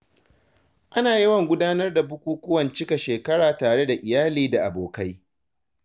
Ana yawan gudanar da bukukuwan cika shekara tare da iyali da abokai.